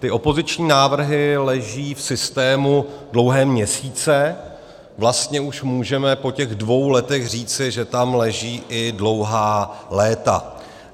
Ty opoziční návrhy leží v systému dlouhé měsíce, vlastně už můžeme po těch dvou letech říci, že tam leží i dlouhá léta.